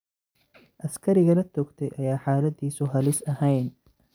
Askariga la toogtay ayaa xaaladiisu halis ahayn.